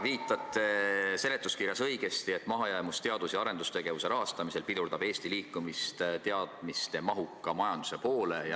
Viitate seletuskirjas, õigesti, et mahajäämus teadus- ja arendustegevuse rahastamisel pidurdab Eesti liikumist teadmismahuka majanduse poole.